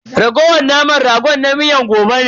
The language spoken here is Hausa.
Raguwar naman ragon na miyar gobe ne.